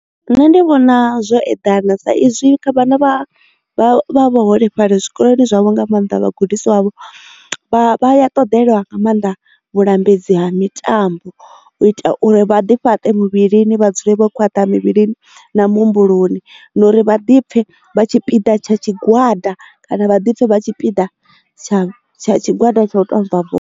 Nṋe ndi vhona zwo eḓana sa izwi kha vhana vha vhaholefhali zwikoloni zwavho nga maanḓa vhagudisiwa vho vha ya ṱoḓelwa nga maanḓa vhulambedzi ha mitambo u ita uri vha ḓi fhaṱe muvhilini vhadzule vhokhwaṱha muvhilini na muhumbuloni na uri vhaḓipfe vha tshipiḓa tsha tshigwada kana vhaḓipfe vha tshipiḓa tsha tsha tshigwada tsha u tou tamba bola.